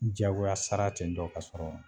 Jagoya sara ten tɔ ka sɔrɔ